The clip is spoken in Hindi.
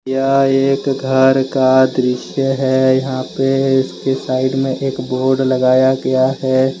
यह एक घर का दृश्य है यहां पे इसके साइड में एक बोर्ड लगाया गया है।